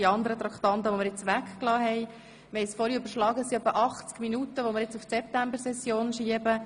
Etwa 80 Minuten Debatte haben wir nun auf die Septembersession verschoben.